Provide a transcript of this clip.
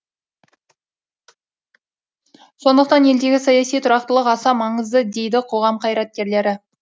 сондықтан елдегі саяси тұрақтылық аса маңызды дейді қоғам қайраткерлері